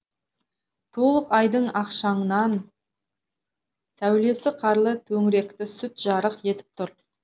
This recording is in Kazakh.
толық айдың ақшаңнан сәулесі қарлы төңіректі сүт жарық етіп тұр